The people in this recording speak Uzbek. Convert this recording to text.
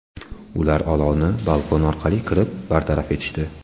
Ular olovni balkon orqali kirib bartaraf etishdi.